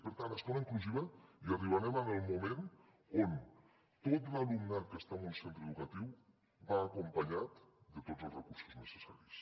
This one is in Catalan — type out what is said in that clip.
per tant a l’escola inclusiva hi arribarem en el moment on tot l’alumnat que està en un centre educatiu va acompanyat de tots els recursos necessaris